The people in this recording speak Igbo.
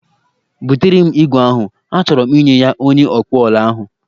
Butere m igwe ahụ, achọro m inye ya onye ọkpụọla ahụ